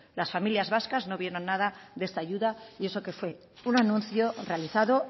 las familias vascas no vieron nada de esta ayuda y eso que fue un anuncio realizado